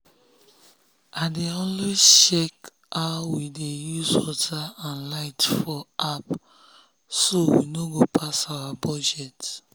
i dey always check how we dey use water and light for appso we no go pass our budget.